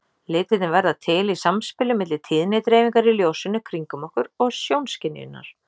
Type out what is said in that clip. Litirnir verða til í samspili milli tíðnidreifingar í ljósinu kringum okkur og sjónskynjunarinnar.